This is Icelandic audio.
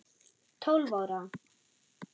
Tólf ára.